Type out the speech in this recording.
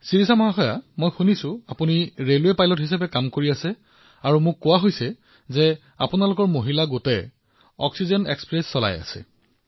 শিৰিষা জী মই শুনিছো যে আপুনি ৰেলৱে পাইলট হিচাপে কাম কৰি আছে আৰু মোক কোৱা হৈছে যে আপুনি কেৱল মহিলা কৰ্মচাৰীৰ সৈতে এই অক্সিজেন এক্সপ্ৰেছ চলাই আছে